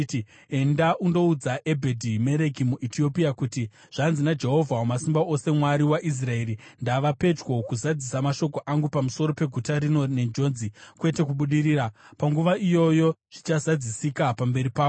“Enda undoudza Ebhedhi-Mereki muEtiopia kuti, ‘Zvanzi naJehovha Wamasimba Ose, Mwari waIsraeri: Ndava pedyo kuzadzisa mashoko angu pamusoro peguta rino nenjodzi, kwete kubudirira. Panguva iyoyo zvichazadzisika pamberi pako.